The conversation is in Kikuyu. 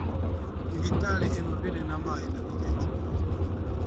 Thibitarĩ ĩno ndĩrĩ maĩ na ti wega